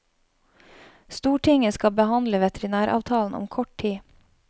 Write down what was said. Stortinget skal behandle veterinæravtalen om kort tid.